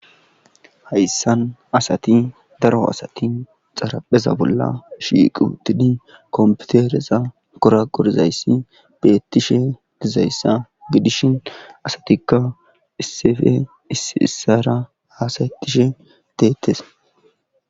Hayssan asati daro asati xarapheza bolla shiiqutidi komputereza kora qorzayssi beettishe dizayssa gidishin asatikka issefe isiissara haasaytishe deettes.